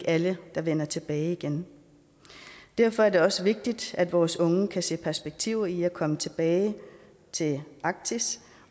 er alle der vender tilbage igen derfor er det også vigtigt at vores unge kan se perspektiver i at komme tilbage til arktis